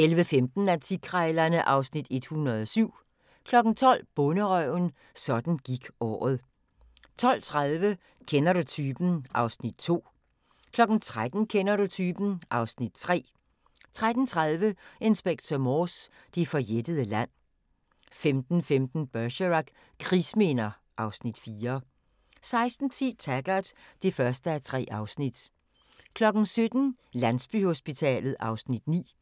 11:15: Antikkrejlerne (Afs. 107) 12:00: Bonderøven – sådan gik året ... 12:30: Kender du typen? (Afs. 2) 13:00: Kender du typen? (Afs. 3) 13:30: Inspector Morse: Det forjættede land 15:15: Bergerac: Krigsminder (Afs. 4) 16:10: Taggart (1:3) 17:00: Landsbyhospitalet (Afs. 9)